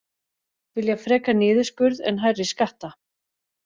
Vilja frekar niðurskurð en hærri skatta